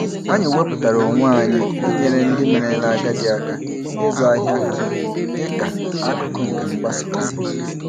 Anyị wepụtara onwe anyị inyere ndị merela agadi aka ịzụ ahịa ha dị ka akụkụ nke mgbasa ozi.